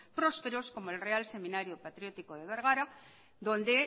prósperos como el real seminario patriótico de vergara donde